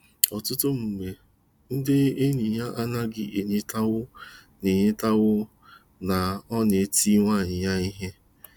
Ọtụtụ mgbe ndị enyi ya anaghị enwetaw na enwetaw na ọ na-eti nwunye ya ihe.